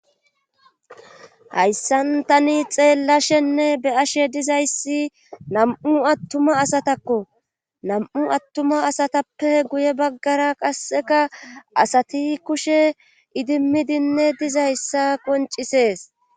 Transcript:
Hayssan tani xeellashenne be ashe dizayssi nam7u attuma asatakko nam7u attuma asatappe guye baggara qasseka asati kushe idimmidinne dizayssa qoncisees